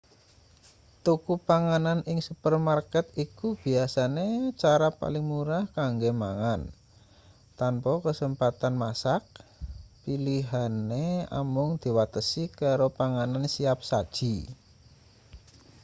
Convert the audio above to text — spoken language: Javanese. tuku panganan ing supermarket iku biasane cara paling murah kanggo mangan tanpa kasempatan masak pilihane amung diwatesi karo panganan siap saji